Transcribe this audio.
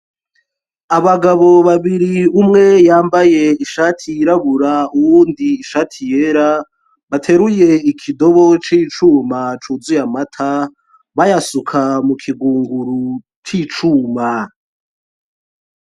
Abagabo babiri umwe yambaye ishati yirabura uwundi ishati yera bateruye ikidobo c'icuma cuzuye amata bayasuka mu kigunguru c'icuma.